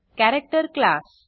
character class